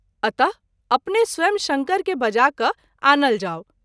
अत: अपने स्वयं शंकर के बजा क’ आनल जाओ।